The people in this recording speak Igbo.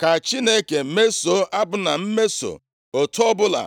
Ka Chineke mesoo Abna mmeso, otu ọbụla